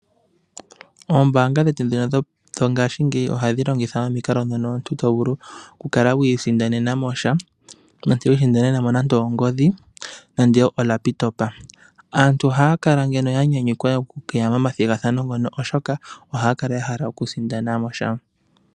Oombaanga dhetu dhino dhongashingayi ohadhi longitha omikalo dhono omuntu to vulu okukala wiisindanena mo mono omuntu to vulu okukala wi isindanena mo nande ongodhi nenge oLaptop aantu ohaa kala ya nyanyukwa okuya momasindano mono oshoka ohaya kala ya hala okusindana mo sha.